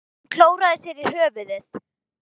Hún klóraði sér í höfðinu.